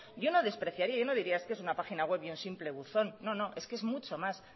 yo no despreciaría yo no diría es que es una página web y un simple buzón no no es que es mucho más